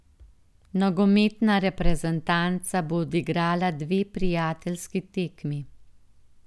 Nogometna reprezentanca bo odigrala dve prijateljski tekmi.